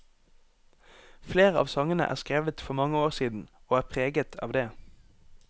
Flere av sangene er skrevet for mange år siden, og er preget av det.